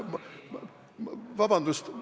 Vabandust!